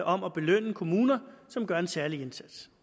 om at belønne kommuner som gør en særlig indsats